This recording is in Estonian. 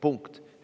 Punkt.